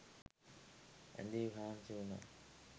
ඇඳේ හාන්සි වුණා.